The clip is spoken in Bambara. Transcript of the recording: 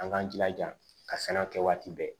An k'an jilaja ka sɛnɛ kɛ waati bɛɛ